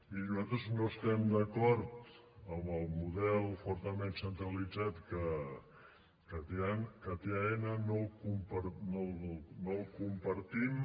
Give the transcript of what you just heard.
miri nosaltres no estem d’acord amb el model fortament centralitzat que té aena no el compartim